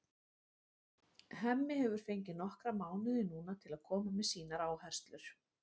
Hemmi hefur fengið nokkra mánuði núna til að koma með sínar áherslur.